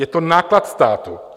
Je to náklad státu.